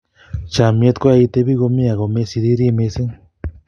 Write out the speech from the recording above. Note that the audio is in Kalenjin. Chomyet koyae itebi komie ako mesiriri mising